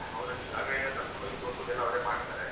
ಅವರಲ್ಲಿ ಜಾಗ ಎಲ್ಲ ಕರ್ಕೊಂಡ್ ಹೋಗಿ ತೋರ್ಸುದೆಲ್ಲ ಅವರೇ ಮಾಡತಾರೆ